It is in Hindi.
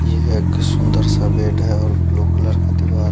ये है एक सुन्दर सा बेड है और ब्लू कलर का दीबार --